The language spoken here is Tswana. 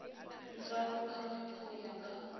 di farologana go ya ka